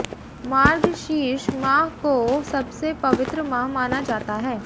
मार्गशीर्ष माह को सबसे पवित्र माह माना जाता है